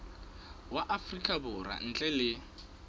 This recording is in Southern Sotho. wa afrika borwa ntle le